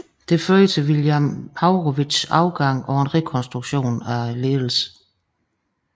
Det førte til William Haurowitz afgang og en rekronstruktion af ledelsen